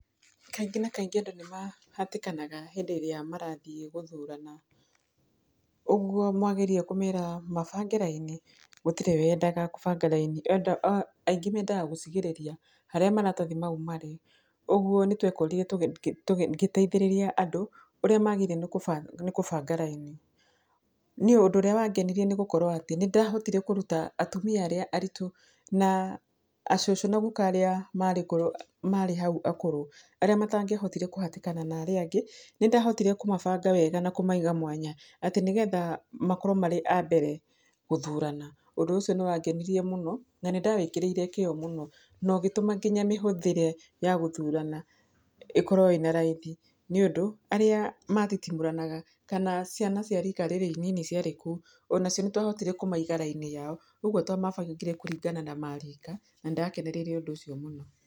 Kaingĩ na kaingĩ andũ nĩmahatĩkanaga hĩndĩ ĩrĩa marathiĩ gũthurana, ũguo wamera mabange raini gũtirĩ wendaga gũbanga raini aingĩ mendaga gũcigĩrĩria harĩa maratathi mau marĩ, ũguo nĩtwekonire ngĩteithĩrĩria andũ ũrĩa magĩrĩirwe nĩ kũbanga raini, niĩ ũndũ ũrĩa wangenirie nigũkorwo atĩ, nĩndahotire kũruta atumia arĩa aritũ na acũcũ na aguka arĩa marĩ hao akũrũ, arĩa matĩa hotire kũhatĩkana na arĩa angĩ, nĩndahotire kũmabanga wega na kũmaiga mwanya atĩ nĩgetha makorwe memabere gũthurana, ũndũ ũcio nĩwangenirie mũno na nĩndagĩkĩrĩire kĩo mũno nogĩtũma nginya mĩhũthĩre ya gũthurana ĩkorwe ĩna raithi, nĩũdũ arĩa mathitimũrana kana ciana cia rika inini ciarĩ ku ,onacio nĩtwahotire gũciga raini yao, ũguo twamabangire kũringana na marika na nĩndakenereire ũndũ ũcio mũno.